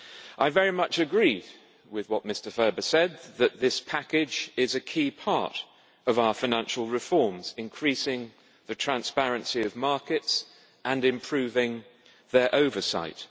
I very much agreed with what Mr Ferber said, that this package is a key part of our financial reforms, increasing the transparency of markets and improving their oversight.